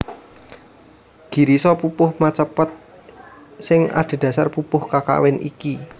Girisa pupuh macapat sing adhedhasar pupuh kakawin iki